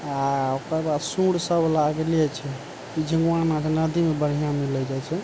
आ ओकर बाद सूंढ़ सब लागले छै नदी मे बढ़िया मिले जाय छै ।